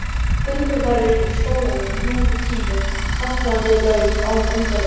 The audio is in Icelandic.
Gönguferðir í skóginum, ljúfur tími, fallandi lauf án undirleiks.